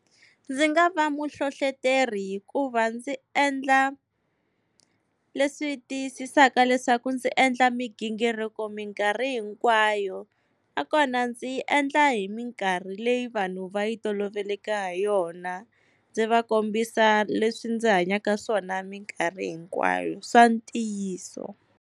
Ndzi nga va muhlohloteri hikuva ndzi endla leswi tiyisisaka leswaku ndzi endla migingiriko minkarhi hinkwayo. Nakona ndzi yi endla hi minkarhi leyi vanhu va yi toloveleke ha yona, ndzi va kombisa leswi ndzi hanyaka swona minkarhi hinkwayo swa ntiyiso.